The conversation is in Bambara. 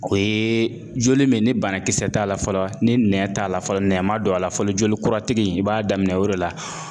O ye joli min ni banakisɛ t'a la fɔlɔ, ni nɛ t'a la fɔlɔ, nɛn ma don a la fɔlɔ, joli kura tigi, i b'a daminɛ o de la.